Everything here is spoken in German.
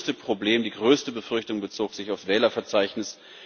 Das größte Problem, die größte Befürchtung, bezog sich auf das Wählerverzeichnis.